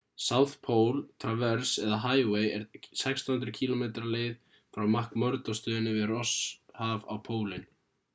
south pole traverse eða highway er 1600 km leið frá mcmurdo-stöðinni við rosshaf á pólinn